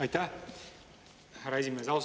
Aitäh, härra esimees!